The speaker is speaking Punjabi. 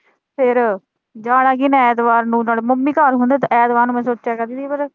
ਜਾਣਾ ਕੀਹਨੇ ਆ ਐਤਵਾਰ ਨੂੰ, ਨਾਲੇ ਮੰਮੀ ਘਰ ਹੁੰਦੇ ਤੇ ਐਤਵਾਰ ਨੂੰ ਮੈਂ ਸੋਚਿਆ ਨੀਂ ਕਦੇ